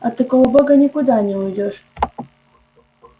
от такого бога никуда не уйдёшь